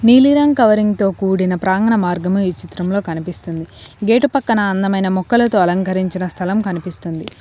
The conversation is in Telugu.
నీలిరంగ్ కవరింగ్ తో కూడిన ప్రాంగణ మార్గము ఈ చిత్రంలో కనిపిస్తుంది గేటు పక్కన అందమైన మొక్కలతో అలంకరించిన స్థలం కనిపిస్తుంది.